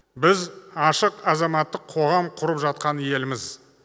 біз ашық азаматтық қоғам құрып жатқан елміз